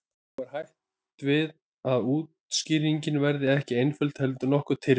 Þá er hætt við að útskýringin verði ekki einföld heldur nokkuð tyrfin.